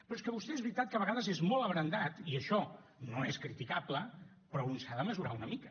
però és que vostè és veritat que a vegades és molt abrandat i això no és criticable però un s’ha de mesurar una mica